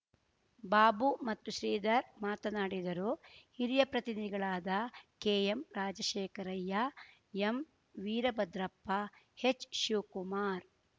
ಬಾಬು ಮತ್ತು ಶ್ರಿಧರ್ ಮಾತನಾಡಿದರು ಹಿರಿಯ ಪ್ರತಿನಿಗಳಾದ ಕೆಎಂ ರಾಜಶೇಖರಯ್ಯ ಎಂವಿರಭದ್ರಪ್ಪ ಹೆಚ್‌ಶಿವಕುಮಾರ್